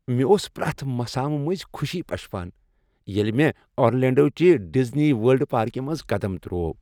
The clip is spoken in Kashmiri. مے٘ اوس پریٚتھ مسامہٕ مٔنٛزۍ پشپان ییٚلہ مےٚ آرلینٛڈو چہ ڈزنی ورلڈ پارکہ منٛز قدم ترٛوو۔